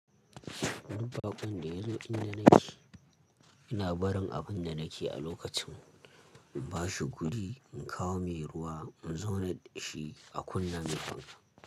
Dubbaƙun da yazo in da naki, ina barin abun da nake a lokacin. In bashi gudi, in kawo mai ruwa, in zauna da shi a kunna min fanka.